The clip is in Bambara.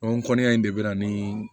O kɔnnen de bɛ na ni